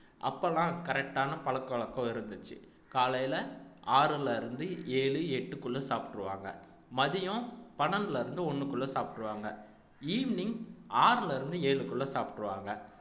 அப்பல்லாம் correct ஆன பழக்க வழக்கம் இருந்துச்சு காலையில ஆறுல இருந்து ஏழு எட்டுக்குள்ள சாப்பிட்டுருவாங்க மதியம் பன்னெண்டுல இருந்து ஒண்ணுக்குள்ள சாப்பிட்டுருவாங்க evening ஆறுல இருந்து ஏழுக்குள்ள சாப்பிட்டுருவாங்க